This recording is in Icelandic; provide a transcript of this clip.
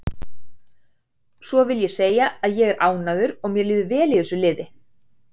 Svo ég vil segja að ég er ánægður og mér líður vel í þessu liði.